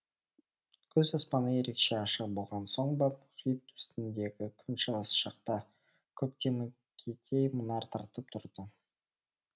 күз аспаны ерекше ашық болған соң ба мұхит үстіндегі күн шығыс жақта көктемгідей мұнар тартып тұрды